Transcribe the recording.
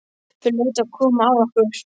Það hlaut að koma að okkur.